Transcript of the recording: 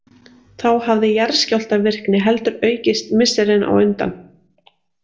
Þá hafði jarðskjálftavirkni heldur aukist misserin á undan.